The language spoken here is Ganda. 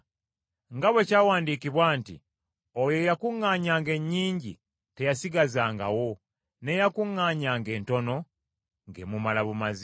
Nga bwe kyawandiikibwa nti, “Oyo eyakuŋŋaanyanga ennyingi teyasigazangawo, n’eyakuŋŋaanyanga entono ng’emumala bumazi.”